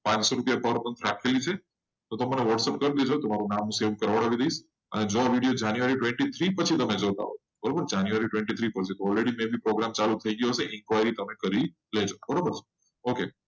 પાનસો રૂપિયા per person રાખેલી હશે. તમને આ whatsapp કરી દીધો. તમારૂ નામ સેવ કરવડાવી ડાઈસ. અને જો આ વિડીયો january twenty three પછી જોતાં હોય બરાબર january twenty three પછી જોતા હોય. already program ચાલુ થઈ ગયો હશે.